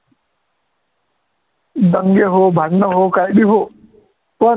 दंगे हो, भांडण हो, काही बी हो, पण